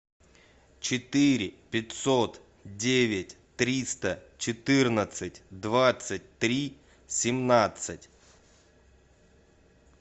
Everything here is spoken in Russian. четыре пятьсот девять триста четырнадцать двадцать три семнадцать